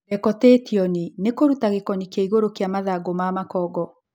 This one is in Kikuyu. Dekotĩtioni nĩkũruta gĩkoni kĩa igũrũ kĩa mathangũ ma makongo.